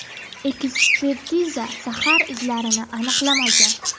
Ekspertiza zahar izlarini aniqlamagan.